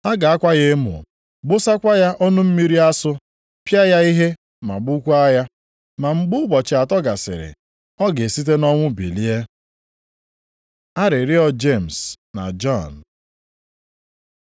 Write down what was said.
Ha ga-akwa ya emo, gbụsakwa ya ọnụ mmiri asụ, pịa ya ihe ma gbukwaa ya. Ma mgbe ụbọchị atọ gasịrị, ọ ga-esite nʼọnwụ bilie.” Arịrịọ Jemis na Jọn